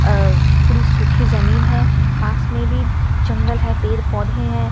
अ पूरी सूखी जमीन है पास में भी जंगल है पेड़ पौधे हैं।